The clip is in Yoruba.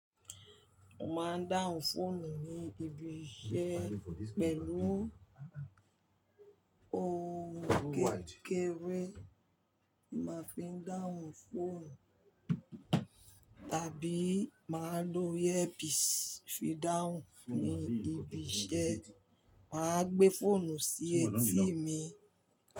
Mo máa ń dáhùn fóònù ní ibi iṣẹ́ pẹ̀lú ohun kékeré ni màá ń fi dáhùn fóònù tàbí ma lò earpiece fi dáhùn ní ibi iṣẹ́ màá gbé phone sí etí mi.